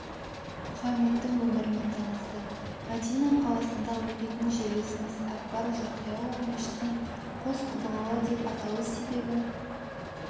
мұхаммедтің өмірімен танысты мәдина қаласында оқитын жерлесіміз әкбар жақияұлы мешіттің қос құбылалы деп аталу себебі